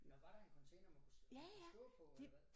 Nåh var der en container man kunne man kunne stå på eller hvad?